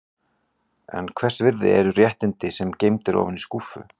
En hvers virði eru réttindi sem geymd eru ofan í skúffu?